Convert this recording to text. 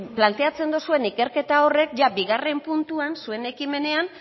planteatzen dozuen ikerketa horrek ia bigarren puntuan zuen ekimenean